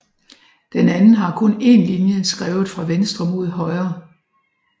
Den anden har kun én linje skrevet fra venstre mod højre